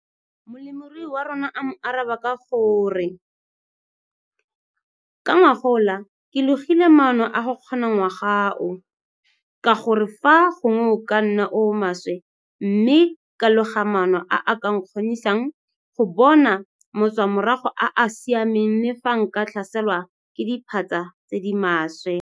Molemirui wa rona a mo araba ka go re 'ka ngogola ke logile maano a go kgona ngwaga o, ka gore fa gongwe o ka nna o o maswe mme ka loga maano a a ka nkgonisang go bona matswamorago a a siameng le fa nka tlhaselwa ke diphatsa tse di maswe'.